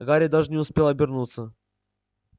гарри даже не успел обернуться